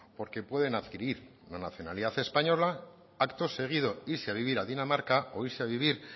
porque pueden adquirir la nacionalidad española acto seguido irse a vivir a dinamarca o irse a vivir